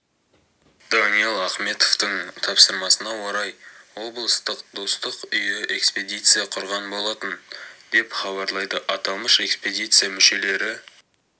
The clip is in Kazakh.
даниал ахметовтің тапсырмасына орай облыстық достық үйі экспедиция құрған болатын деп хабарлайды аталмыш экспедиция мүшелері